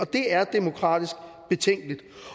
det er demokratisk betænkeligt